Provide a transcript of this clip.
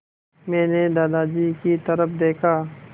मैंने दादाजी की तरफ़ देखा